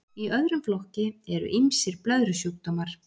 í öðrum flokki eru ýmsir blöðrusjúkdómar